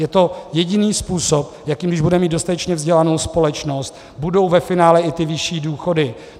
Je to jediný způsob, jakým, když budeme mít dostatečně vzdělanou společnost, budou ve finále i ty vyšší důchody.